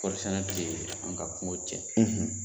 Kɔɔri sɛnɛ tɛ an ka kungo cɛn.